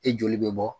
E joli bɛ bɔ